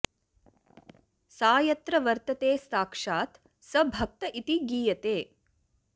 सा यत्र वर्तते साक्षात् स भक्त इति गीयते